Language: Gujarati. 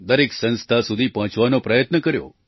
દરેક સંસ્થા સુધી પહોંચવાનો પ્રયત્ન કર્યો